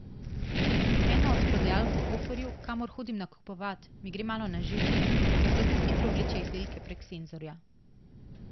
Ena od prodajalk v Hoferju, kamor hodim nakupovat, mi gre malo na živce, ker tako hitro vleče izdelke prek senzorja.